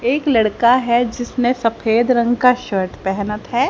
एक लड़का है जिसने सफेद रंग का शर्ट पहनत है।